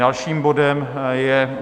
Dalším bodem je